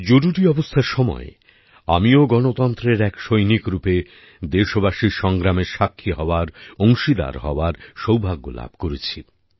জরুরি অবস্থার সময় আমিও গণতন্ত্রের এক সৈনিক রূপে দেশবাসীর সংগ্রামের সাক্ষী হওয়ার অংশীদার হওয়ার সৌভাগ্য লাভ করেছি